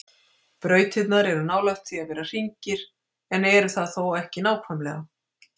Brautirnar eru nálægt því að vera hringir en eru það þó ekki nákvæmlega.